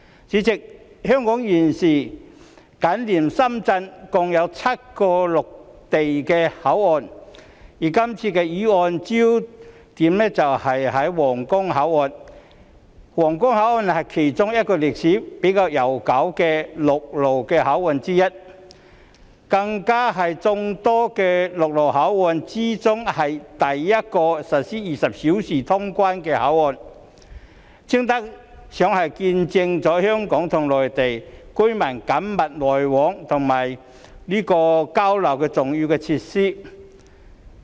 主席，香港現時緊連深圳共有7個陸路口岸，而這項議案聚焦的皇崗口岸是其中一個歷史較悠久的陸路口岸，更是眾多陸路口岸中首個實施24小時通關的口岸，堪稱是見證香港與內地民眾緊密來往和交流的重要設施。